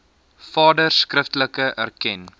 vader skriftelik erken